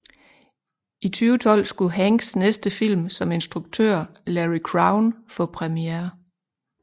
I 2012 skulle Hanks næste film som instruktør Larry Crowne få præmiere